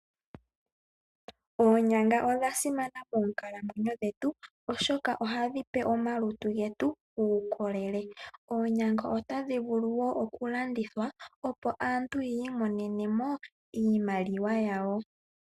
Oonyanga odha simana monkalamwenyo dhetu oshoka ohadhi pe omalutu getu uukolele. Oonyanga otadhi vulu oku landithwa opo aantu yi imonene mo iimaliwa yawo.